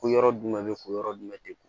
Ko yɔrɔ jumɛn bɛ kun yɔrɔ jumɛn tɛ ku